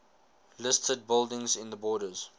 listed buildings in the borders